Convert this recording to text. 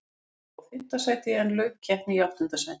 Blikum var spáð fimmta sæti en lauk keppni í áttunda sæti.